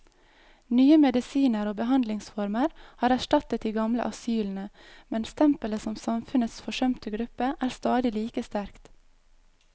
Nye medisiner og behandlingsformer har erstattet de gamle asylene, men stempelet som samfunnets forsømte gruppe er stadig like sterkt.